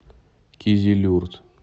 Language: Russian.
кизилюрт